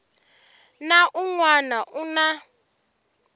na un wana u na